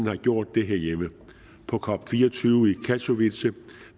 har gjort det herhjemme på cop24 i katowice